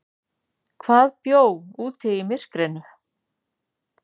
Hvað bjó úti í myrkrinu?